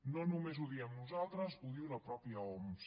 no només ho diem nosaltres ho diu la mateixa oms